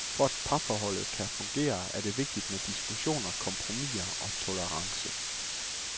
For at parforholdet kan fungere, er det vigtigt med diskussioner, kompromiser og tolerance.